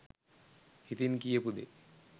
හිතින් කියපු දේ